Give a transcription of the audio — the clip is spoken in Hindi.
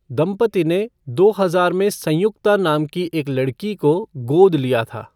दंपति ने दो हजार में संयुक्ता नाम की एक लड़की को गोद लिया था।